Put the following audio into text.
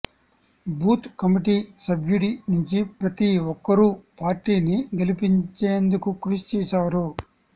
booth committee సభ్యుడి నుంచి ప్రతీ ఒక్కరూ పార్టీని గెలిపించేందుకు కృషి చేశారు